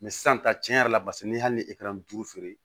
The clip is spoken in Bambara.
sisan tiɲɛ yɛrɛ la paseke ni hali ni e kɛra n duuru feere